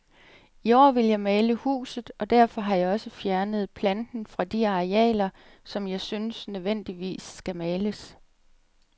I år vil jeg male huset, og derfor har jeg også fjernet planten fra de arealer, som jeg synes nødvendigvis skal males.